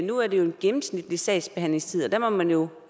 nu er det jo en gennemsnitlig sagsbehandlingstid og der må man jo